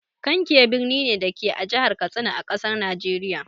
Kankia birni ne, da ke a Jihar Katsina, a ƙasar Nijeriya.